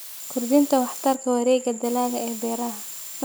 Kordhinta waxtarka wareegga dalagga ee beeraha.